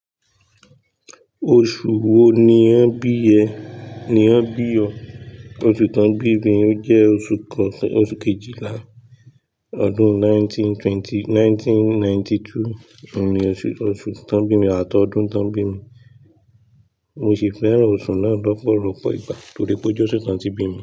Oṣù wo ni wọ́n bi ẹ? Ni wọ́n bi ọ? Oṣù tí wọ́n bí mi jẹ́ oṣù kejìlá ọdún nineteen ninety two ni oṣù tí wọ́n bí mi àtọdún tí wọ́n bí mi. Mo sì fẹ́ran oṣù náà lọ́pọ̀lọ́pọ̀ ìgbà torí pé ó jẹ́ oṣù tí wọ́n bí mi.